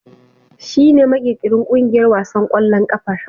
Shi ne makirkirin ƙungiyar wasan ƙwallon kafar.